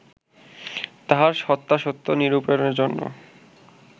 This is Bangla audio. তাহার সত্যাসত্য নিরূপণ জন্য